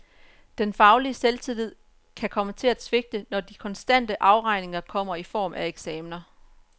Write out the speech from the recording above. Den faglige selvtillid kan komme til at svigte, når de kontante afregninger kommer i form af eksamener.